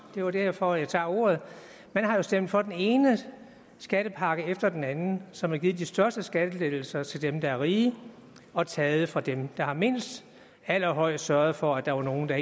det er jo derfor jeg tager ordet man har stemt for den ene skattepakke efter den anden som har givet de største skattelettelser til dem der er rige og taget fra dem der har mindst allerhøjst sørget for at der var nogle af